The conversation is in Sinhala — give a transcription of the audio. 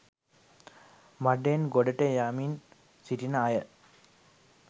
මඩෙන් ගොඩට යමින් සිටින අය